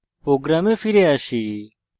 program ফিরে আসি